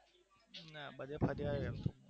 હા બધે ફરી આવ્યા.